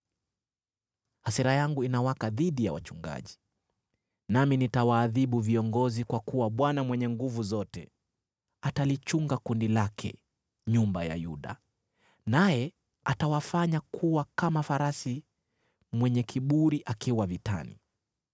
“Hasira yangu inawaka dhidi ya wachungaji, nami nitawaadhibu viongozi; kwa kuwa Bwana Mwenye Nguvu Zote atalichunga kundi lake, nyumba ya Yuda, naye atawafanya kuwa kama farasi mwenye kiburi akiwa vitani.